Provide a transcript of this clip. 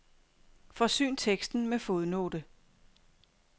Forsyn teksten med fodnote.